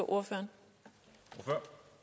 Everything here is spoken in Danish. ordføreren